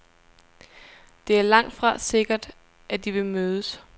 Det er langtfra sikkert, at de vil mødes.